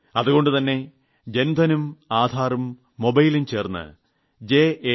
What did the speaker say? അതുകൊണ്ടുതന്നെ ജൻധനും ആധാറും മൊബൈലും ചേർന്ന് ജാം j